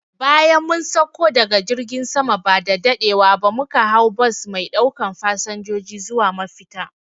Bayan mun sakko daga jirgin sama ba daɗewa muka hau bas me ɗaukan fasanjoji zuwa mafita